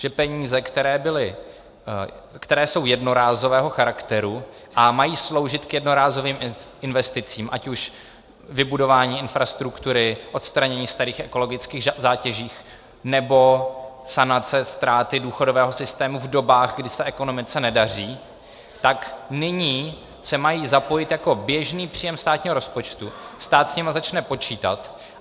Že peníze, které jsou jednorázového charakteru a mají sloužit k jednorázovým investicím, ať už vybudování infrastruktury, odstranění starých ekologických zátěží, nebo sanace ztráty důchodového systému v dobách, kdy se ekonomice nedaří, tak nyní se mají zapojit jako běžný příjem státního rozpočtu, stát s nimi začne počítat.